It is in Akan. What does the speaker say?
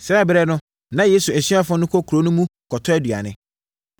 Saa ɛberɛ no, na Yesu asuafoɔ no kɔ kuro no mu kɔtɔ aduane.